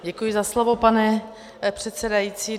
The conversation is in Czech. Děkuji za slovo, pane předsedající.